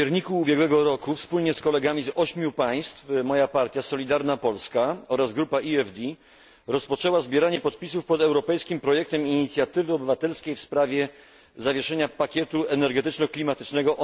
W październiku ubiegłego roku wspólnie z kolegami z 8 państw moja partia Solidarna Polska oraz grupa EFD rozpoczęły zbieranie podpisów pod europejskim projektem inicjatywy obywatelskiej o nazwie Stop pakietowi dotyczącej zawieszenia pakietu energetyczno klimatycznego.